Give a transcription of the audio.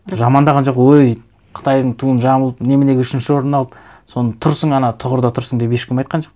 жамандаған жоқ өй қытайдың туын жамылып неменеге үшінші орын алып соны тұрсың ана тұғырда тұрсың деп ешкім айтқан жоқ